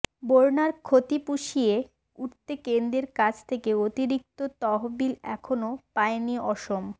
বন্যার ক্ষতি পুষিয়ে উঠতে কেন্দ্ৰের কাছ থেকে অতিরিক্ত তহবিল এখনও পায়নি অসম